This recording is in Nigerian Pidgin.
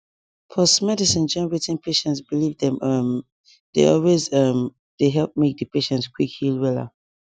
pause medicine join wetin patient believe dem um dey always um dey help make di patient quick heal wella